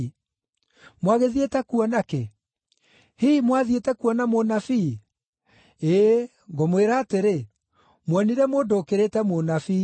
Mwagĩthiĩte kuona kĩ? Hihi mwathiĩte kuona mũnabii? Ĩĩ, ngũmwĩra atĩrĩ, muonire mũndũ ũkĩrĩte mũnabii.